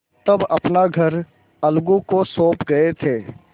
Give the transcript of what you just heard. तब अपना घर अलगू को सौंप गये थे